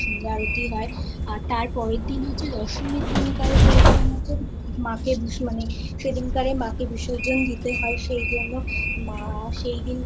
আবার সন্ধ্যা আরতি হয় আর তার পরের দিন হচ্ছে দশমীর দিনকরে যেরকম হচ্ছে মাকে মানে সেই দিনকারে মা কে বিসর্জন দিতে হয় সেই জন্য মা